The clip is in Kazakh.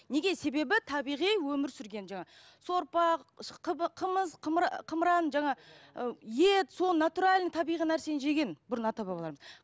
неге себебі табиғи өмір сүрген жаңа сорпа қымыз қымыран жаңа ы ет сол натуральный табиғи нәрсені жеген бұрын ата бабаларымыз